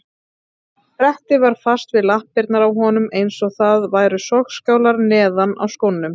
Brettið var fast við lappirnar á honum eins og það væru sogskálar neðan í skónum.